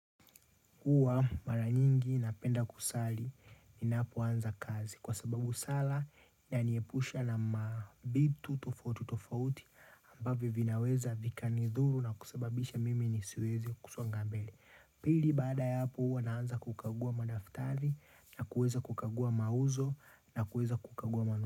Huwa mara nyingi napenda kusali ninapoanza kazi kwa sababu sala yaniepusha na mavitu tofauti tofauti ambavyo vinaweza vika nidhuru na kusababisha mimi nisiweze kusonga mbele. Pili baada ya hapo huwa naanza kukagua madaftari na kueza kukagua mauzo na kueza kukagua manu.